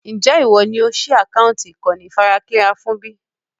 Ń jẹ́ ìwọ ni ó síí àkántì ìkànnì onífarakínra fún bí?